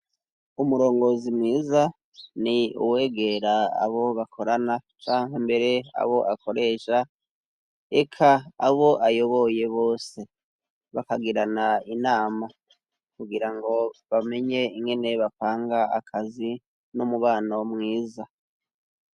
Umurongozi mwiza ni uwegera abo bakorana cangwa mbere abo akoresha eka abo ayoboye bose, bakagirana inama kugira ngo bamenye ingene bapanga akazi n'umubano mwiza.